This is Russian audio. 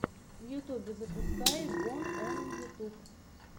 в ютьюбе запускай бон он ютьюб